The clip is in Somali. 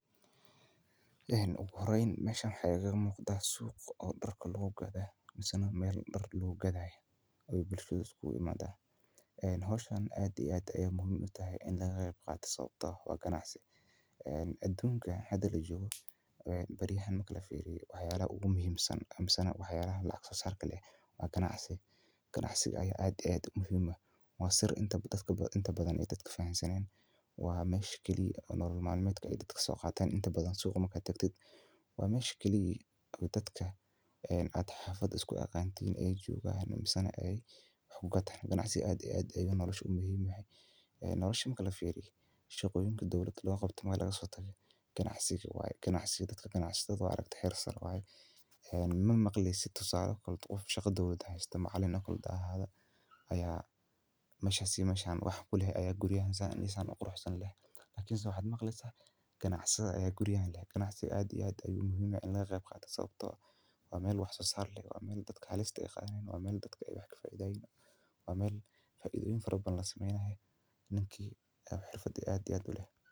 Ugu horeeyn meshan waxaa igamuuqata suuq oo darka lagugadho misaneh meel darka lagugadhaye oo bulshada isuguimata hawshan aad iyo aad ey muhiim utahat in lagaqeybqato sawabtoo ah waa ganacsi. Aduunkan hada lajoogo beriyahan marki lafiiriyo waxyaabaha ugumuhiimsan misaneh waxyaalaha lacag soosarka leh waa ganacsi, ganacsiga aya aad iyo aad muhiim uah waa sir inta badhan oo dadka fahamsaneen waa mesha kalix ah oo nolol malmeedka ey dadka kasooqatan inta badha suuqa marka tagtid waa mesha kalix ey dadka ad xafad iskuaqantin ey joogan misa neh kugataan ganacsiga aad iyo aad eyu nolosha muhiim uyahay. Nolosha marka lafiiriyo shaqooyinka dowlada looqabto waa lagasotage ganacsiga waye, ganacsiga dadka ganacsadha waa aragte heer are waaye. Mamaqleysid tusaale qof shaqa doowlad haysta macalin haahaadho aya meshas iyo meshan wax kuleh aya guriyahan san iyo san uqurxsan leh, lakin se waxaa maqleysa ganacsadha ayaa guriyahan leh. ganacsiga aad iyo aad ayu muhiim uyahy sawabtoo ah waa meel wax sosaar le waa mel dadka halista yaqaano wa mel dadka ey wax kafaaidhayin waa mel faaidhoyin fara badhan lasameynayo ninki xirfad aad iyo aad uleh.